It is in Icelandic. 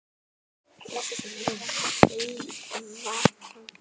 Blessuð sé minning Eyva frænda.